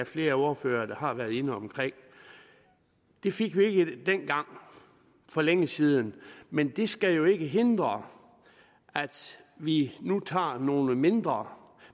flere ordførere har været inde omkring det fik vi ikke dengang for længe siden men det skal jo ikke hindre at vi nu tager nogle mindre